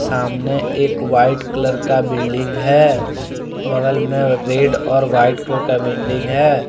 सामने एक white colour का बिल्डिंग है बगल में रेड और व्हाइट कलर का बिल्डिंग है।